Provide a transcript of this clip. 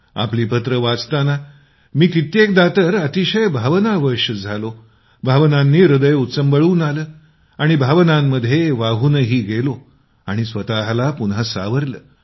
आपली पत्रं वाचताना मी कित्येकदा तर अतिशय भावनावश झालो भावनांनी ह्रदय उचंबळून आलं आणि भावनामध्ये वाहूनही गेलो आणि स्वतःला पुन्हा सावरलं